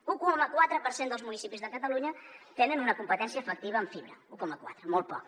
l’un coma quatre per cent dels municipis de catalunya tenen una competència efectiva en fibra un coma quatre molt poc